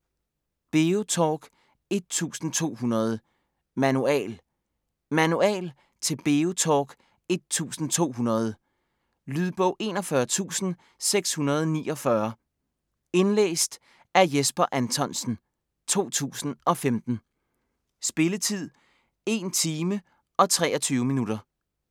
BeoTalk 1200: Manual Manual til BeoTalk 1200. Lydbog 41649 Indlæst af Jesper Anthonsen, 2015. Spilletid: 1 time, 23 minutter.